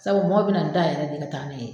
Sabu mɔgɔw bɛ na dayɛlɛ de ka taa n'a ye.